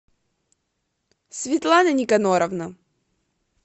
светлана никоноровна